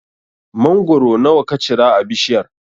Mangoro nawa ka cira a bishiyar?